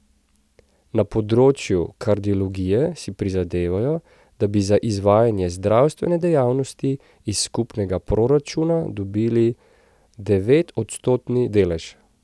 Na področju kardiologije si prizadevajo, da bi za izvajanje zdravstvene dejavnosti iz skupnega proračuna dobivali devetodstotni delež.